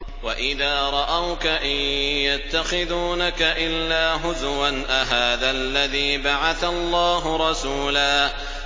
وَإِذَا رَأَوْكَ إِن يَتَّخِذُونَكَ إِلَّا هُزُوًا أَهَٰذَا الَّذِي بَعَثَ اللَّهُ رَسُولًا